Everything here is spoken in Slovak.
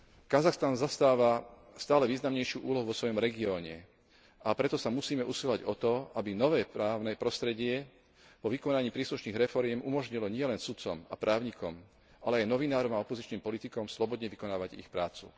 Kazachstan zastáva stále významnejšiu úlohu vo svojom regióne, a preto sa musíme usilovať o to, aby nové právne prostredie po vykonaní príslušných reforiem umožnilo nielen sudcom a právnikom, ale aj novinárom a opozičným politikom slobodne vykonávať ich prácu.